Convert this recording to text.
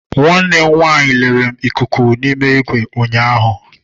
Nwanne m nwanyị lere m ikuku n'ime igwe m ụnyaahụ.